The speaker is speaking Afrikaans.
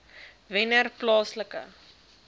wennerplaaslike